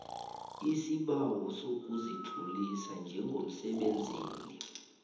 isibawo sokuzitlolisa njengomsebenzeli